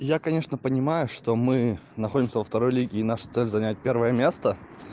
я конечно понимаю что мы находимся во второй лиге и наша цель занять первое место